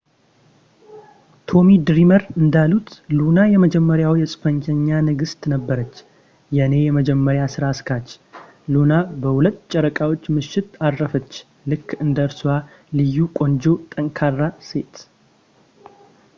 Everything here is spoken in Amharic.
ቶሚ ድሪመር እንዳሉት ሉና የመጀመሪያዋ የፅንፈኛ ንግሥት ነበረች የእኔ የመጀመሪያ ሥራ አስኪያጅ ሉና በሁለት ጨረቃዎች ምሽት አረፈች ልክ እንደ እርሷ ልዩ ቆንጆ ጠንካራ ሴት